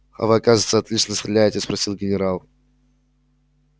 а вы оказывается отлично стреляете спросил генерал